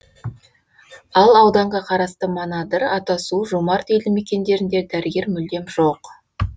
ал ауданға қарасты манадыр атасу жомарт елді мекендерінде дәрігер мүлдем жоқ